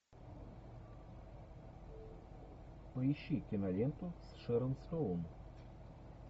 поищи киноленту с шэрон стоун